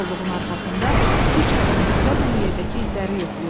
Kolluğun arxasında üç adam diqqətlə yerdəki izləri yoxlayırdı.